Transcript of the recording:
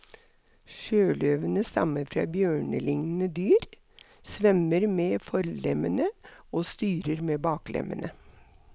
Sjøløvene stammer fra bjørnelignende dyr, svømmer med forlemmene og styrer med baklemmene.